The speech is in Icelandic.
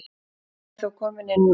Hann er þó kominn inná aftur